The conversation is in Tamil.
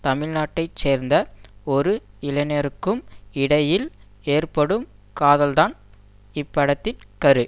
தமிழ்நாட்டை சேர்ந்த ஒரு இளைஞருக்கும் இடையில் ஏற்படும் காதல்தான் இப்படத்தின் கரு